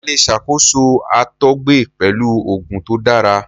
A le ṣakoso àtọgbẹ pẹlu oogun to dara